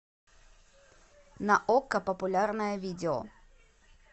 на окко популярное видео